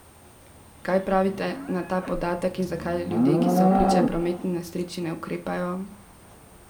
Kaj pravite na ta podatek in zakaj ljudje, ki so priče prometni nesreči, ne ukrepajo?